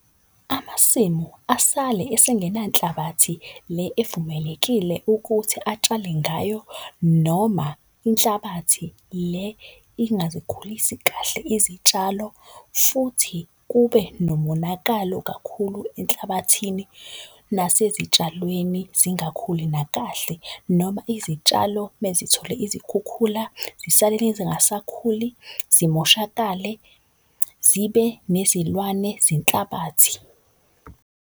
Amasimu asale esengena nhlabathi le evumelekile ukuthi atshale ngayo noma inhlabathi le ingazikhulisi kahle izitshalo. Futhi kube nomonakalo kakhulu enhlabathini nasezitshalweni zingakhuli nakahle. Noma izitshalo mezithole izikhukhula zisale zingasakhuli, zimoshakale zibe nezilwane zenhlabathi.